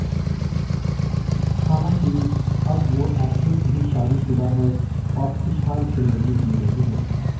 हालांकि अब वो एक्ट्रेस भी शादीशुदा है और खुशहाल जिंदगी जी रही है